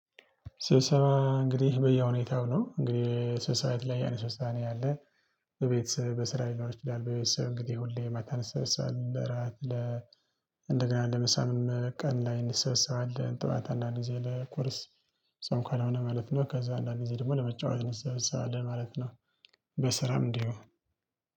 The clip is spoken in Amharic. ስብሰባ እንግዲህ በየሁኔታው ነው እንግዲህ ስብሰባ የተለያየ አይነት ስብሰባ ነው ያለ። በቤተሰብ በስራ ሊኖር ይችላል በቤተሰብ እንግዲህ ሁሌ ማታ እንሰበሳለን ለራት ለ እንደገና ለምሳም ቀን ላይ እንሰበሳለን ጠዋት አንዳንድ ጊዜ ለቁርስ ጾም ካልሆነ ማለት ነው። ከዛ አንዳንድ ጊዜ ደግሞ ለመጫወት እንሰብሰባለን ማለት ነው። በስራም እንዲሁ